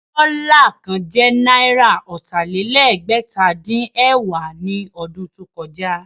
Dọ́là kan jẹ́ náírà ọ̀tà-lé-lẹ́gbẹ̀ta-dín-ẹ̀wá ní ọdún tó kọjá.